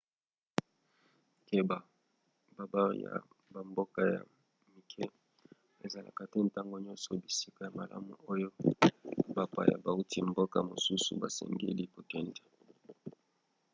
keba: babare ya bamboka ya mike ezalaka te ntango nyonso bisika ya malamu oyo bapaya bauti mboka mosusu basengeli kokende